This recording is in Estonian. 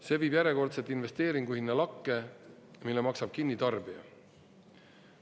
See viib järjekordselt investeeringu hinna lakke, mille maksab kinni tarbija.